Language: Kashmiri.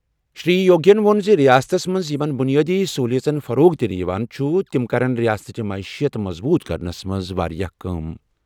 شری یوگی ین ووٚن زِ رِیاستس منٛز یِم بُنیٲدی سٔہوٗلِیات فروغ دِنہٕ یِوان چھِ تِم کَرِ رِیاستٕچہِ معیشِیات مضبوٗط کرنس منٛز واریاہ کٲم۔